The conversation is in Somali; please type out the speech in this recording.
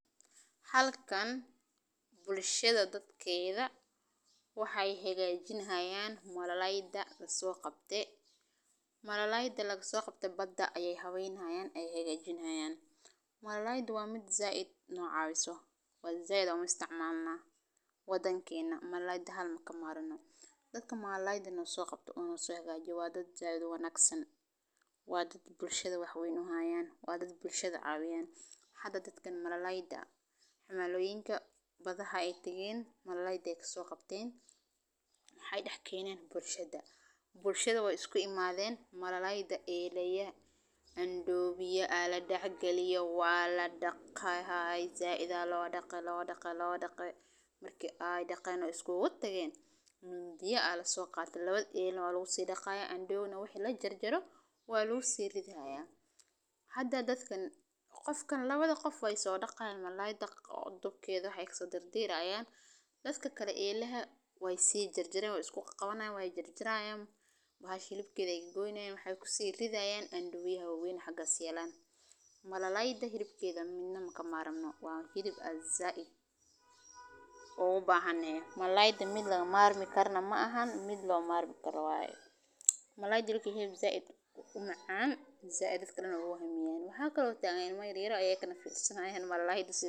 Halkan bulshada dhadkeedaa waxaay hagajin hayaan malalaydha la soo qabtee, malalayda laga soo qabtee badhaa ayay haweyni haayaan. waxaad u baahan tahay inaad hore u nadiifiso si fiican, ka saaro masakhkhaarta, haddii ay jirto, kadibna ku dhig weel biyo kulul oo ku dar xawaajin, liin, basbaas, kosbor, iyo cusbo oo dhan waxay ku habboon yihiin dhadhanagaaga, markaas ku kari jiddil ah ilaa ay dhexdhexaadi uu qaboojiyo, haddii aad rabto inaad ku shiidayso aad macsaro oo ku shiid bur, saliid, ama subag marka kasta oo aad isku dubbarid, kadibna ku dhigo foorno kulul oo ku kari ilaa ay brown u noqdo, ama aad ku shiilayso laasqad, basbaas leh, iyo qodmo khudaar ah sibibbarro, carooto, iyo baradho oo ku kariyo suugo yar oo aad ku darayso biyo iyo xawaajiin, kadibna ku dhig kalluunka oo dhan oo ku kari ilaa ay si fiican u karsanto